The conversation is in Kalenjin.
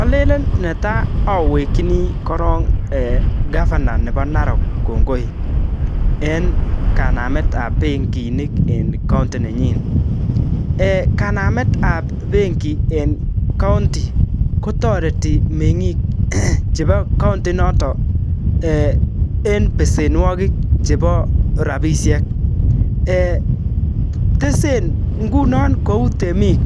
Olelen netai owekeni korong governor nebo Narok kongoi en kanamet ab benginik en county nenyin. Kanamet ab benki en county kotoreti meng'ik chebo county inoto en besenwogik chebo rabishek. Tesen ngunon kou temik